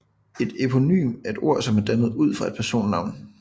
Et eponym er et ord som er dannet ud fra et personnavn